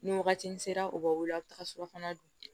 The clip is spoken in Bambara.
Ni wagati in sera u bɛ wele a bi taga surafana dun